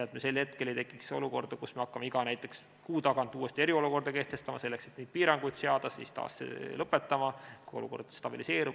Sel hetkel ei tohiks tekkida olukorda, kus me hakkame näiteks iga kuu tagant uuesti eriolukorda kehtestama, selleks et neid piiranguid seada, ja siis taas lõpetame, kui olukord stabiliseerub.